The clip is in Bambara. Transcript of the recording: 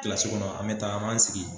Kilas kɔnɔ an bɛ taa an b'an sigi